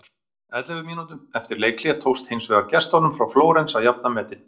Ellefu mínútum eftir leikhlé tókst hins vegar gestunum frá Flórens að jafna metin.